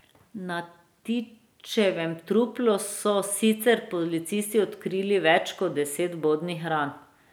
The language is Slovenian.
Na Tičevem truplu so sicer policisti odkrili več kot deset vbodnih ran.